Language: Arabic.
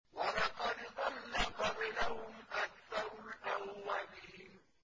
وَلَقَدْ ضَلَّ قَبْلَهُمْ أَكْثَرُ الْأَوَّلِينَ